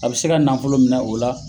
A be se ka nafolo minɛ o la